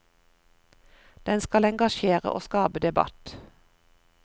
Den skal engasjere og skape debatt.